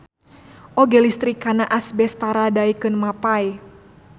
Oge listrik kana asbes tara daekeun mapay.